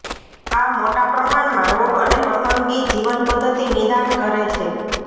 આ મોટા પ્રમાણમાં રોગ અને પસંદગી જીવનપદ્ધતિ નિદાન કરે છે